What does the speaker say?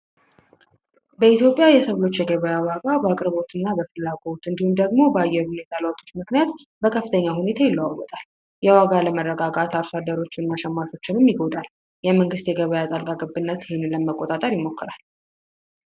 በኢትዮጵያ የሰብል ምርቶች የገበያ ዋጋ በአቅርቦትና ፍላጎት እንዲሁም ደግሞ በአየር ሁኔታ ለውጦች ምክንያት በከፍተኛ ሁኔታ ይለዋወጣል። የዋጋ አለመረጋጋት የአርሶአደሮችን የኑሮ ሁኔታ ይጎዳል። የመንግስት የገበያ ጣልቃ ገብነት ይህንን ለመቆጣጠር ይሞክራል።